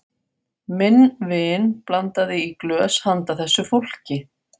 Minn vin blandaði í glös handa þessu fólki.